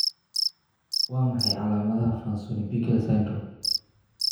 Waa maxay calaamadaha iyo calaamadaha Fanconi Bickel syndrome?